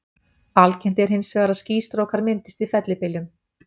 Algengt er hins vegar að skýstrókar myndist í fellibyljum.